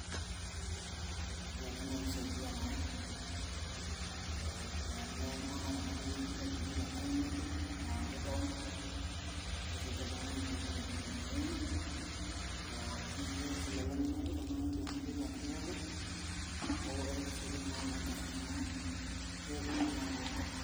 ore ena naa kisaidia naa ee amu keya iltung'anak ena toki adumu te town nabo neya enkay town nisaidia iltung'anak peedung inchugulini enye ee naa keya sii ilolan linapita naa ekindim enatoki atipikaki neeku eretisho oleng naa kuna garrin amu keret iltung'ak too nkatitin.